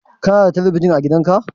Kana da talabijin a gidan ka?